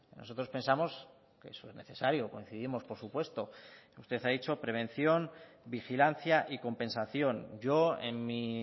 nosotros pensamos que eso es necesario coincidimos por supuesto usted ha dicho prevención vigilancia y compensación yo en mi